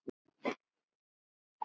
Hvernig ganga bókanir þar?